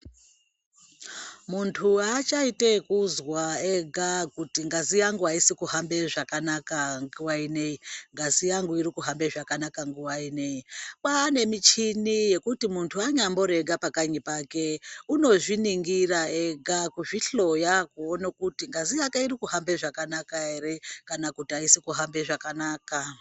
Muntu aachaiti ekuzwa ega kuti ngazi yangu aisi kuhambe zvakanaka nguwa inei ngazi yangu irikuhambe zvakanaka nguwa inei, kwane michini yekuti munhu anyambori ega pakanyi pake unozviningira ega kuzvihloya kuone kuti ngazi yake irikuhambe zvakanaka ere kana kuti aisi kuhambe zvakanaka.